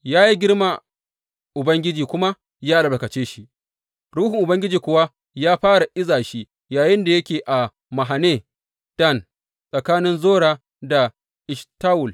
Ya yi girma Ubangiji kuma ya albarkace shi, Ruhun Ubangiji kuwa ya fara iza shi yayinda yake a Mahane Dan, tsakanin Zora da Eshtawol.